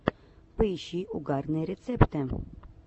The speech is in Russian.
поищи угарные рецепты